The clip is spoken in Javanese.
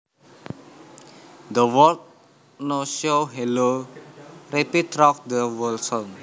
The words No show hello repeat through the whole song